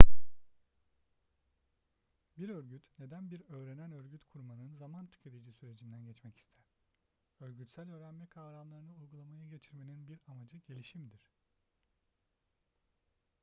bir örgüt neden bir öğrenen örgüt kurmanın zaman tüketici sürecinden geçmek ister örgütsel öğrenme kavramlarını uygulamaya geçirmenin bir amacı gelişimdir